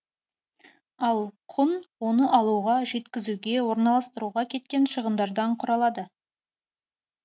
ал құн оны алуға жеткізуге орналастыруға кеткен шығындардан құралады